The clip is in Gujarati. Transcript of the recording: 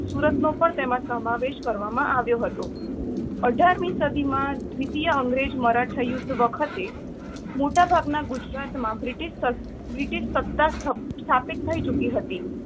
સુરતનો પણ તેમાં સમાવેશ કરવામાં આવ્યો હતો. અઢાર મી સદીમાં દ્વિતિય અંગ્રેજ-મરાઠા યુદ્ધ વખતે મોટાભાગના ગુજરાતમાં બ્રિટીશ સ~સત્તા સ્થાપિત થઇ ચુકી હતી.